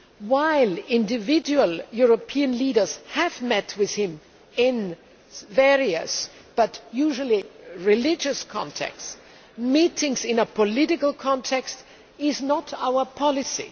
While individual European leaders have met with him in various, but usually religious, contexts, meetings in a political context are not our policy.